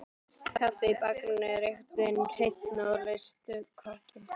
Kaffið í bakaríinu er einhvernveginn hreinna, og laust við korginn.